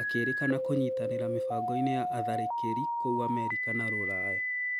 akĩrĩkana kũnyitanĩra mĩbango-inĩ ya atharĩkĩri kũu Amerika na Rũraya